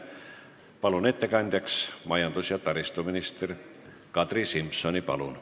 Palun ettekandeks kõnetooli majandus- ja taristuminister Kadri Simsoni!